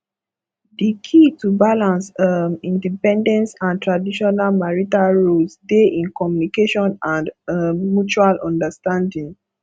di key to balance um independence and traditional marital roles dey in communication and um mutual understanding